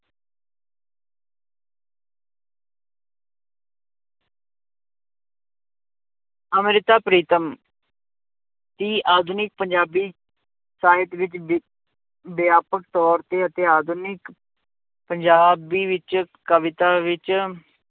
ਅੰਮ੍ਰਿਤਾ ਪ੍ਰੀਤਮ ਦੀ ਆਧੁਨਿਕ ਪੰਜਾਬੀ ਸਾਹਿਤ ਵਿੱਚ ਵਿ ਵਿਆਪਕ ਤੌਰ ਤੇ ਅਤੇ ਆਧੁਨਿਕ ਪੰਜਾਬੀ ਵਿੱਚ ਕਵਿਤਾ ਵਿੱਚ